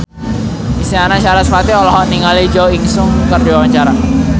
Isyana Sarasvati olohok ningali Jo In Sung keur diwawancara